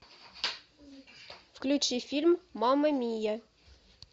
включи фильм мама мия